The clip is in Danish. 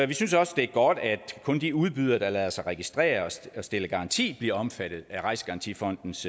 vi synes også det er godt at kun de udbydere der lader sig registrere og stiller garanti bliver omfattet af rejsegarantifondens